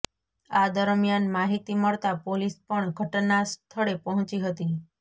આ દરમિયાન માહિતી મળતાં પોલીસ પણ ઘટના સ્થળે પહોંચી હતી